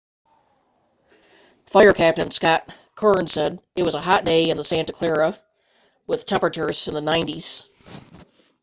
fire captain scott kouns said it was a hot day in the santa clara with temperatures in the 90s